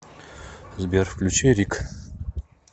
сбер включи рик